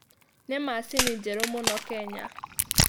Nĩ macini njerũ mũno Kenya.